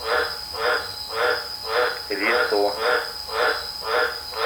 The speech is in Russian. ресо